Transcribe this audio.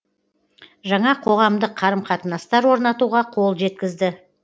жаңа қоғамдық қарым қатынастар орнатуға қол жеткізді